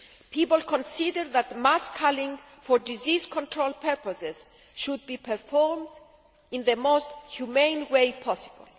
People consider that mass culling for disease control purposes should be performed in the most humane way possible.